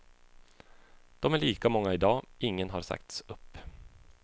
De är lika många idag, ingen har sagts upp.